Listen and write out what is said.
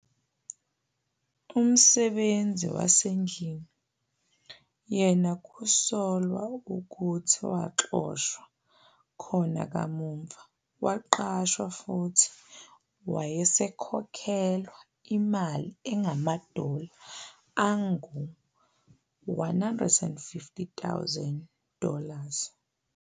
Umsebenzi wasendlini yena kusolwa ukuthi waxoshwa khona kamuva waqashwa futhi wayesekhokhelwa imali engamadola angu-150,000 dollars.